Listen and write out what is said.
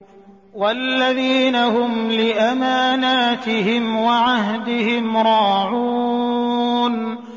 وَالَّذِينَ هُمْ لِأَمَانَاتِهِمْ وَعَهْدِهِمْ رَاعُونَ